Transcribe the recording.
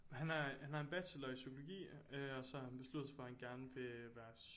Han har han har en bachelor i psykologi og så har han besluttet sig for at han gerne vil være